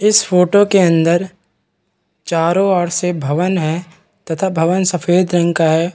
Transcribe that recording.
इस फोटो के अंदर चारो ओर से भवन है तथा भवन सफ़ेद रंग का है।